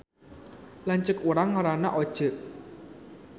Lanceuk urang ngaranna Oceu